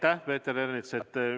Aitäh teile, Peeter Ernits!